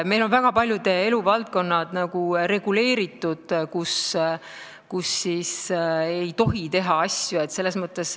Meil on väga paljud eluvaldkonnad reguleeritud ja ei tohi teha teatud asju.